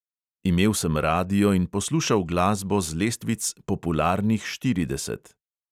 Imel sem radio in poslušal glasbo z lestvic popularnih štirideset.